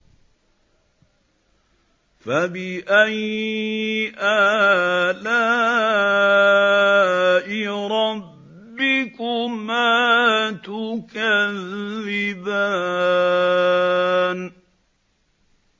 فَبِأَيِّ آلَاءِ رَبِّكُمَا تُكَذِّبَانِ